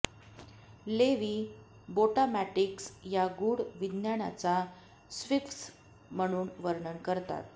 levy बोटामॅटिक्स या गूढ विज्ञानाचा स्फिंक्स म्हणून वर्णन करतात